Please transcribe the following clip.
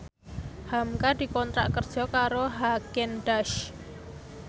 hamka dikontrak kerja karo Haagen Daazs